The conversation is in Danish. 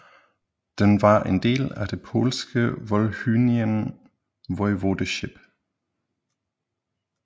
Den var en del af det polske Volhynian Voivodeship